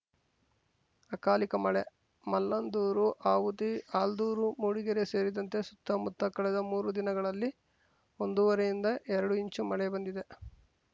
ಅಕಾಲಿಕ ಮಳೆ ಮಲ್ಲಂದೂರು ಆವುತಿ ಆಲ್ದೂರು ಮೂಡಿಗೆರೆ ಸೇರಿದಂತೆ ಸುತ್ತಮುತ್ತ ಕಳೆದ ಮೂರು ದಿನಗಳಲ್ಲಿ ಒಂದೂವರೆಯಿಂದ ಎರಡು ಇಂಚು ಮಳೆ ಬಂದಿದೆ